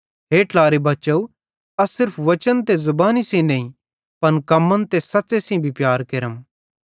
हे ट्लारे बच्चव अस सिर्फ वचन ते ज़ुबानी सेइं नईं पन कम्मन ते सच़्च़े सेइं भी प्यार केरम